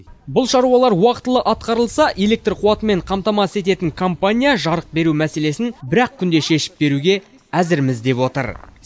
бұл шаруалар уақытылы атқарылса электр қуатымен қамтамасыз ететін компания жарық беру мәселесін бір ақ күнде шешіп беруге әзірміз деп отыр